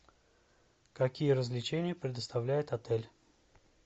какие развлечения предоставляет отель